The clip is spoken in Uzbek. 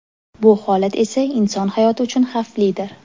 Bu holat esa inson hayoti uchun xavflidir.